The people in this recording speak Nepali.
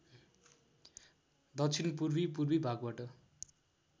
दक्षिणपूर्वी पूर्वी भागबाट